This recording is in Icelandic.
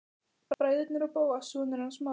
Bræðurnir og Bóas, sonur hans Smára.